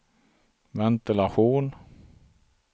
ventilation